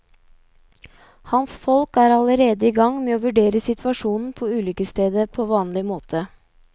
Hans folk er allerede i gang med å vurdere situasjonen på ulykkesstedet på vanlig måte.